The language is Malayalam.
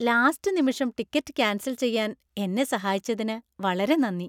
ലാസ്റ്റ് നിമിഷം ടിക്കറ്റ് കാന്‍സല്‍ ചെയ്യാന്‍ എന്നെ സഹായിച്ചതിന് വളരെ നന്ദി,